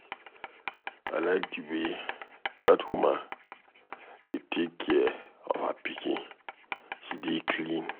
I like the way dat woman dey take care of her pikin. She dey clean.